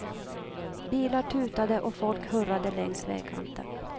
Bilar tutade och folk hurrade längs vägkanten.